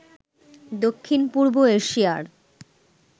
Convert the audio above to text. দক্ষিণ পূর্ব এশিয়ার